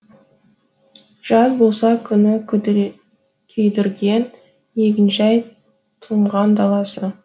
жаз болса күні күйдірген егін жай тұнған даласы